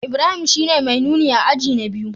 Ibrahim shine mai nuni a aji na biyu